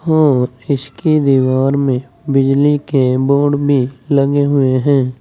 और इसके दीवार में बिजली के बोर्ड भी लगे हुए हैं।